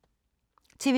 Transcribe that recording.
TV 2